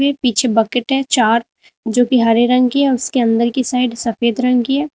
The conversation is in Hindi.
ये पीछे बकेट हैं चार जो कि हरे रंग की है। उसके अंदर की साइड सफेद रंग की है।